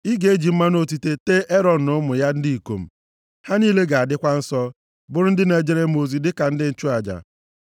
“Ị ga-eji mmanụ otite a tee Erọn na ụmụ ya ndị ikom. Ha niile ga-adịkwa nsọ, bụrụ ndị na-ejere m ozi dịka ndị nchụaja.